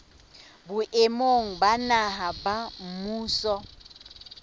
boemong ba naha ba mmuso